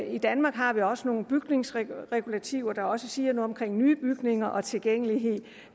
i danmark har vi også nogle bygningsregulativer der også siger noget om nye bygninger og tilgængelighed